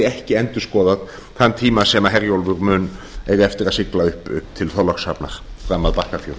ekki endurskoðað þann tíma sem herjólfur mun eiga eftir að sigla upp til þorlákshafnar fram að bakkafjöru